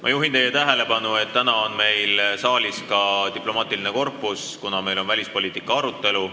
Ma juhin teie tähelepanu, et täna on meil saalis ka diplomaatiline korpus, kuna meil on välispoliitika arutelu.